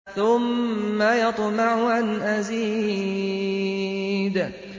ثُمَّ يَطْمَعُ أَنْ أَزِيدَ